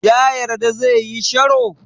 Ya yarda zai yi sharo?